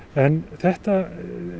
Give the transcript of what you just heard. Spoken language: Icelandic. þetta